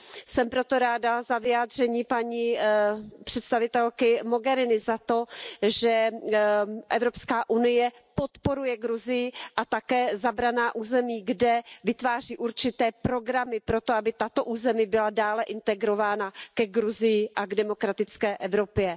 Jsem proto ráda za vyjádření paní představitelky Mogheriniové, za to, že EU podporuje Gruzii a také zabraná území, kde vytváří určité programy proto, aby tato území byla dále integrována ke Gruzii a k demokratické Evropě.